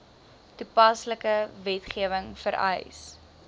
toepaslike wetgewing vereis